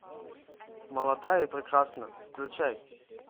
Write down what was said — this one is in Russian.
молодая и прекрасная включай